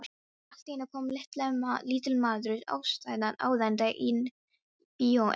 Allt í einu kom lítill maður æðandi inn: Bíó Emil.